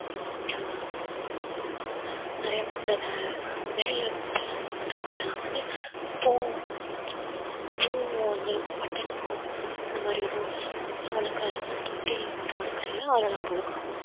ஆஹ் நிறைய விதை மேல இருந்துட்டு மொட்டை மாடியில நாங்க வந்து பூ பூவும் வந்து button பூ இந்த மாதிரி ரோஸ் வளர்க்கறது வந்து தொட்டியில போட்டு வளர்க்கறதால அதுல நாங்க வளர்க்கிறோம்